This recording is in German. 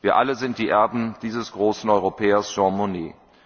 Wir alle sind die Erben dieses großen Europäers Jean Monnet.